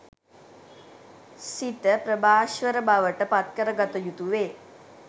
සිත ප්‍රභාස්වර බවට පත්කර ගත යුතු වේ.